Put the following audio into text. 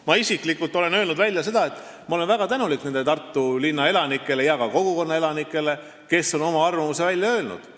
Ma isiklikult olen öelnud välja, et ma olen väga tänulik nendele Tartu linna elanikele ja ka kogukonna elanikele, kes on oma arvamuse välja öelnud.